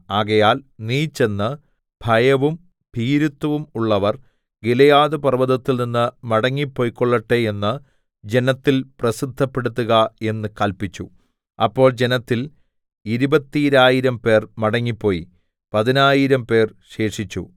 ആകയാൽ നീ ചെന്ന് ഭയവും ഭീരുത്വവും ഉള്ളവർ ഗിലെയാദ് പർവ്വതത്തിൽനിന്ന് മടങ്ങിപ്പൊയ്ക്കൊള്ളട്ടെ എന്ന് ജനത്തിൽ പ്രസിദ്ധപ്പെടുത്തുക എന്ന് കല്പിച്ചു അപ്പോൾ ജനത്തിൽ ഇരുപത്തീരായിരം പേർ മടങ്ങിപ്പോയി പതിനായിരംപേർ ശേഷിച്ചു